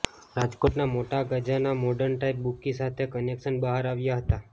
રાજકોટના મોટા ગજાના મોર્ડન ટાઇપ બુકકી સાથે કનેકશન બહાર આવ્યા હતા